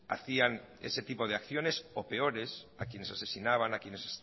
hacían ese tipo de acciones o peores a quienes asesinaban a quienes